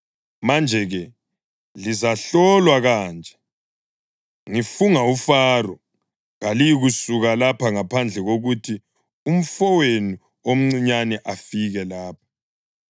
Manje-ke lizahlolwa kanje: Ngifunga uFaro, kaliyikusuka lapha ngaphandle kokuthi umfowenu omncinyane afike lapha.